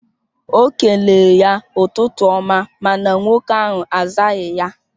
O kelere ya ụtụtụ ọma mana nwoke ahụ azaghị ya